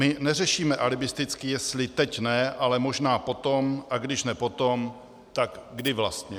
My neřešíme alibisticky, jestli teď ne, ale možná potom, a když ne potom, tak kdy vlastně.